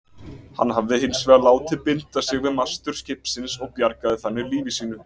Hann hafði hins vegar látið binda sig við mastur skipsins og bjargaði þannig lífi sínu.